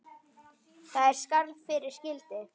Það er skarð fyrir skildi.